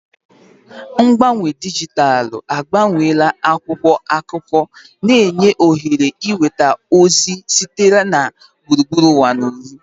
Mgbanwe dijitalụ agbanweela akwụkwọ akụkọ, na-enye ohere ịnweta ozi sitere na gburugburu ụwa ozugbo.